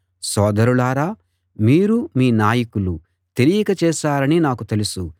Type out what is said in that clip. సోదరులారా మీరూ మీ నాయకులూ తెలియక చేశారని నాకు తెలుసు